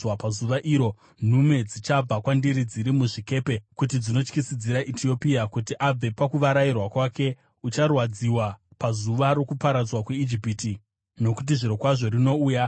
“ ‘Pazuva iro, nhume dzichabva kwandiri dziri muzvikepe kuti dzindotyisidzira Etiopia kuti abve pakuvarairwa kwake. Ucharwadziwa pazuva rokuparadzwa kweIjipiti, nokuti zvirokwazvo rinouya.